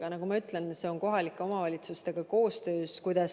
Aga nagu ma ütlesin, see toimub kohalike omavalitsustega koostöös.